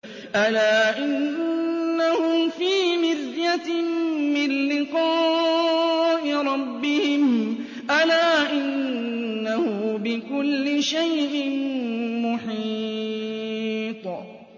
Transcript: أَلَا إِنَّهُمْ فِي مِرْيَةٍ مِّن لِّقَاءِ رَبِّهِمْ ۗ أَلَا إِنَّهُ بِكُلِّ شَيْءٍ مُّحِيطٌ